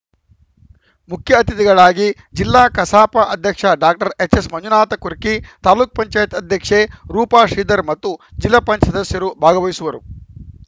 ಮುಖ್ಯ ಅತಿಥಿಗಳಾಗಿ ಜಿಲ್ಲಾ ಕಸಾಪ ಅಧ್ಯಕ್ಷ ಡಾಕ್ಟರ್ ಎಚ್‌ಎಸ್‌ ಮಂಜುನಾಥ ಕುರ್ಕಿ ತಾಲೂಕ್ ಪಂಚಾಯತ್ ಅಧ್ಯಕ್ಷೆ ರೂಪಾ ಶ್ರೀಧರ್‌ ಮತ್ತು ಜಿಲ್ಲಾ ಪಂಚಾಯತ್ ಸದಸ್ಯರು ಭಾಗವಹಿಸುವರು